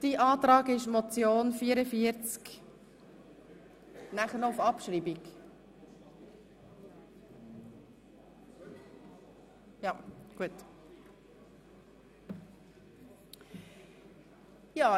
Sein Antrag lautet, bei der Motion Traktandum 44 zusätzlich eine Abstimmung auf Abschreibung durchzuführen.